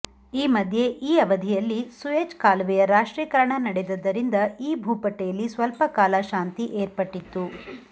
ಈ ಮಧ್ಯೆ ಈ ಅವಧಿಯಲ್ಲಿ ಸೂಯೆಜ್ ಕಾಲುವೆಯ ರಾಷ್ಟ್ರೀಕರಣ ನಡೆದದ್ದರಿಂದ ಈ ಭೂಪಟ್ಟೆಯಲ್ಲಿ ಸ್ವಲ್ಪಕಾಲ ಶಾಂತಿ ಏರ್ಪಟ್ಟಿತು